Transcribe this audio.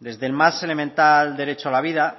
desde el más elemental derecho a la vida